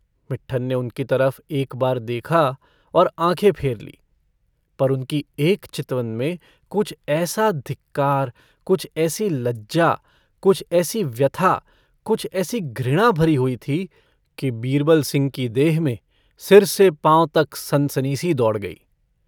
मिट्टन ने उनकी तरफ एक बार देखा और आँखें फेर ली पर उनकी एक चितवन में कुछ ऐसा धिक्कार कुछ ऐसी लज्जा कुछ ऐसी व्यथा कुछ ऐसी घृणा भरी हुई थी कि बीरबल सिह की देह में सिर से पाँव तक सनसनीसी दौड़ गयी।